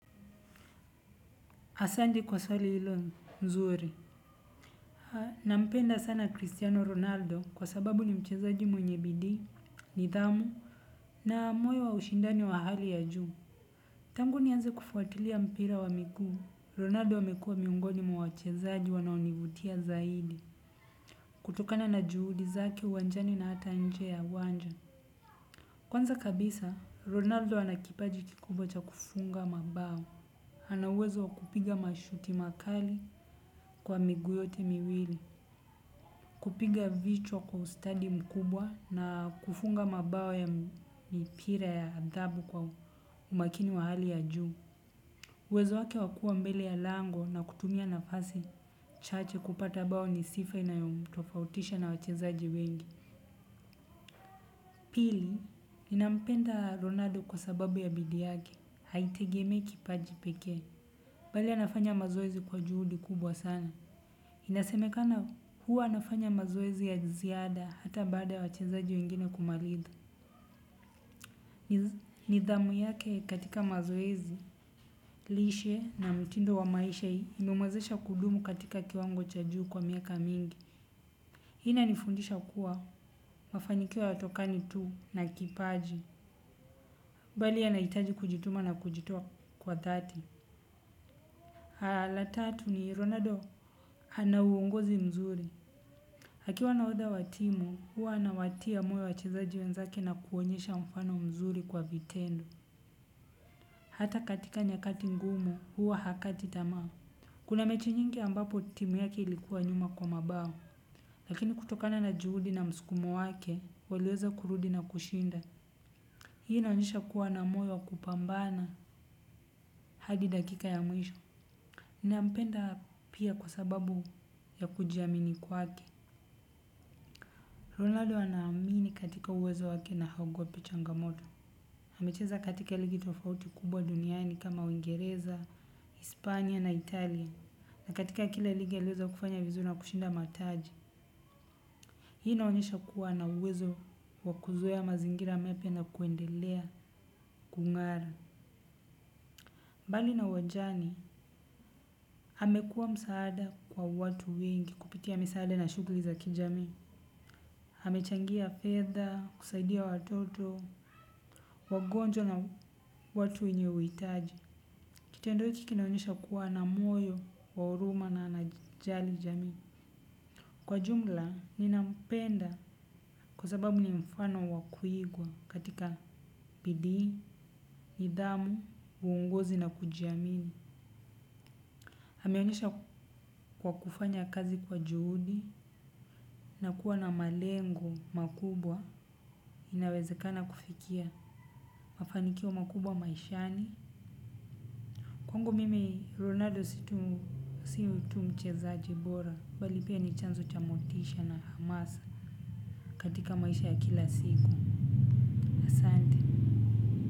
Asanti kwa swali hilo mzuri. Haa, nampenda sana Cristiano Ronaldo kwa sababu ni mchezaji mwenye bidii, nidhamu, na moyo wa ushindani wa hali ya juu. Tangu nianze kufuatilia mpira wa miguu. Ronaldo amekua miongoni mwa wachezaji wanaonivutia zaidi. Kutokana na juhudi zake uwanjani na hata nje ya uwanja. Kwanza kabisa, Ronaldo ana kipaji kikubwa cha kufunga mabao ana uwezo wa kupiga mashuti makali kwa miguu yote miwili. Kupiga vichwa kwa ustadi mkubwa na kufunga mabao ya mipira ya adhabu kwa umakini wa hali ya juu. Uwezo wake wa kua mbele ya lango na kutumia nafasi chache kupata bao ni sifa inayomtofautisha na wachezaji wengi. Pili, ninampenda Ronaldo kwa sababu ya bidii yake haitegemei kipaji pekee. Bali anafanya mazoezi kwa juhudi kubwa sana. Inasemekana huwa anafanya mazoezi ya ziada hata baada ya wachezaji wengine kumaliza. Nidhamu yake katika mazoezi, lishe na mtindo wa maisha hii imemwezesha kudumu katika kiwango cha juu kwa miaka mingi. Hii inanifundisha kuwa mafanikio hayatokani tu na kipaji. Bali anahitaji kujituma na kujitoa kwa dhati. La tatu ni Ronaldo ana uongozi mzuri. Akiwa nahodha wa timu, huwa anawatia moyo wachezaji wenzake na kuonyesha mfano mzuri kwa vitendo. Hata katika nyakati ngumu, huwa hakati tamaa. Kuna mechi nyingi ambapo timu yake ilikuwa nyuma kwa mabao. Lakini kutokana na juhudi na mskumo wake, waliweza kurudi na kushinda. Hii inaonyesha kuwa na moyo wa kupambana hadi dakika ya mwisho. Nampenda pia kwa sababu ya kujiamini kwake. Ronaldo anaamini katika uwezo wake na haogopi changamoto. Amecheza katika ligi tofauti kubwa duniani kama uingereza, hispanya na Italia. Na katika kile ligi aliweza kufanya vizuri na kushinda mataji. Hii inaonyesha kuwa ana uwezo wa kuzoea mazingira mapya na kuendelea kung'ara. Mbali na uwanjani, amekuwa msaada kwa watu wengi kupitia misaada na shugri za kijamii. Amechangia fedha, kusaidia watoto, wagonjwa na watu wenye uhitaji. Kitendo hiki kinaonyesha kuwa na moyo, wa huruma na najali jamii. Kwa ujumla, ninapenda kwa sababu ni mfano wa kuigwa katika bidii, nidhamu, uongozi na kujiamini ameonesha kwa kufanya kazi kwa juhudi na kuwa na malengo makubwa, inawezekana kufikia mafanikio makubwa maishani. Kwangu mimi Ronaldo si tu mtu mchezaji bora, bali pia ni chanzo cha motisha na hamasa katika maisha ya kila siku. Sante.